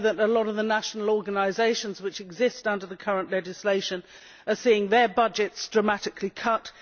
We know that a lot of the national organisations which exist under the current legislation are seeing their budgets dramatically cut.